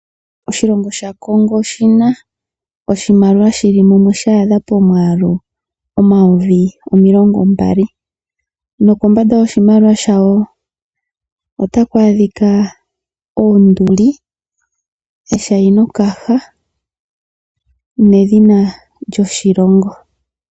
Oshilongo sha Kongo oshina oshimaliwa shili mumwe sha adha pomwaalu Omayovi omilongo mbali, nokombanda yoshimaliwa shayo otaku adhika oonduli ,eshainokaha ,nedhina lyoshilongo.